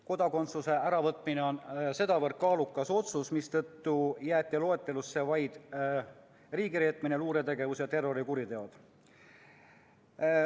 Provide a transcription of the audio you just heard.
Kodakondsuse äravõtmine on väga kaalukas otsus ja seetõttu jäeti loetelusse vaid riigireetmine, luuretegevus ja terrorikuriteod.